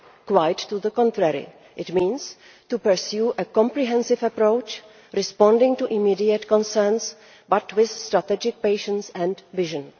Quite the contrary it means pursuing a comprehensive approach, responding to immediate concerns but with strategic patience and vision.